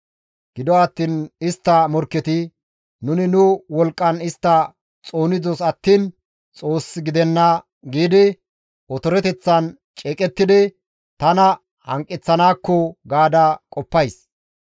Gido attiin istta morkketi, ‹Nuni nu wolqqan istta xoonidos attiin Xoos gidenna› giidi otoreteththan ceeqettidi tana hanqeththanaakko gaada qoppays.